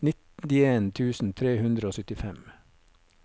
nittien tusen tre hundre og syttifem